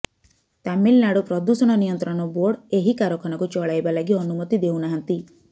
ତାମିଲନାଡୁ ପ୍ରଦୂଷଣ ନିୟନ୍ତ୍ରଣ ବୋର୍ଡ ଏହି କାରଖାନାକୁ ଚଳାଇବା ଲାଗି ଅନୁମତି ଦେଉନାହାନ୍ତି